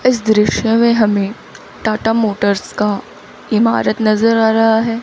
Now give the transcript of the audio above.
इस दृश्य में हमें टाटा मोटर्स का इमारत नज़र आ रहा है।